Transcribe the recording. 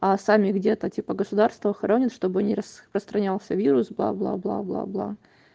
а сами где-то типа государство хоронят чтобы не распространялся вирус бла бла бла бла бла